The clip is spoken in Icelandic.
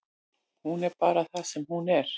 Hún er bara það sem hún er.